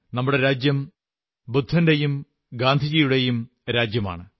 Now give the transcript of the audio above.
നമ്മുടെ രാജ്യം ബുദ്ധന്റെയും ഗാന്ധിയുടെയും രാജ്യമാണ്